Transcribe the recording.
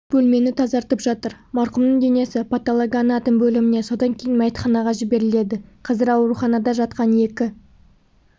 бөлмені тазартып жатыр марқұмның денесі паталогоанатом бөліміне содан кейін мәйітханаға жіберіледі қазір ауруханада жатқан екі